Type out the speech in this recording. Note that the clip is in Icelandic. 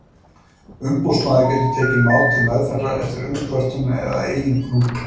Umboðsmaður getur tekið mál til meðferðar eftir umkvörtun eða að eigin frumkvæði.